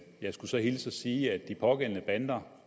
jeg skulle så hilse og sige at de pågældende bander